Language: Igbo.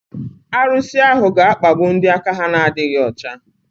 Arusi ahu ga-akpagbu ndị aka ha na-adịghị ọcha.